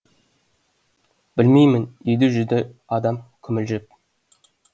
білмеймін деді жүде адам күмілжіп